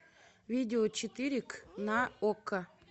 видео четыре к на окко